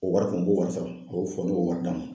O wari kun n b'o wari sara a y'o fɔ n m'o wari d'a ma.